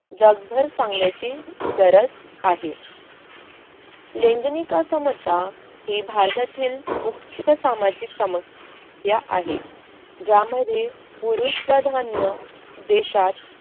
जगभर सांगण्याची गरज आहे. लैंगनिक असमता ही भारतातील मुख्य सामाजिक समस्या आहे ज्यामध्ये पुरुष प्रधान न देशात